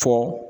Fɔ